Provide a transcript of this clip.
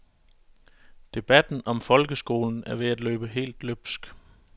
Debatten om folkeskolen er ved at løbe helt løbsk.